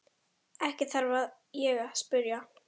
Ekki þarf ég að spyrja.